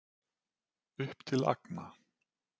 Upp til agna.